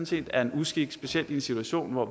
set er en uskik specielt i en situation hvor